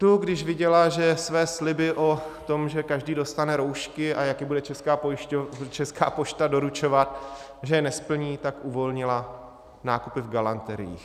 Tu, když viděla, že své sliby o tom, že každý dostane roušky a jak je bude Česká pošta doručovat, že je nesplní, tak uvolnila nákupy v galanteriích.